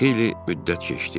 Xeyli müddət keçdi.